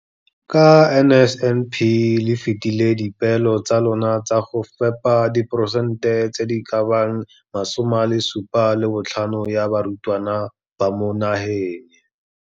Ka NSNP le fetile dipeelo tsa lona tsa go fepa diporesente di le 75 ya barutwana ba mo naheng.